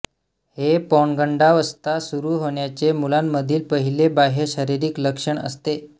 हे पौगंडावस्था सुरू होण्याचे मुलांमधील पहिले बाह्य शारीरिक लक्षण असते